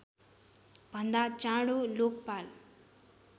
भन्दा चाँडो लोकपाल